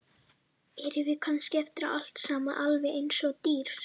Erum við kannski eftir allt saman alveg eins og dýr?